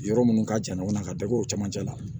Yɔrɔ minnu ka jan ɲɔgɔnna ka da o camancɛ la